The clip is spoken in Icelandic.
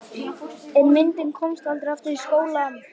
En myndin komst aldrei aftur í skólann.